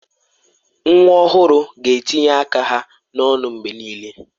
Nwa ọhụrụ ga-etinye aka ha n'ọnụ mgbe niile.